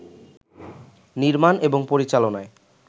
নির্মান এবং পরিচালনায়